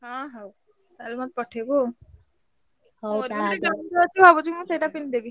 ହଁ ହଉ। ତାହେଲେ ମତେ ପଠେଇବୁ ମୋର ବି ଗୋଟେ gown ଟେ ଅଛି ଭାବୁଚି ମୁଁ ସେଇଟା ପିନ୍ଧି ଦେବି।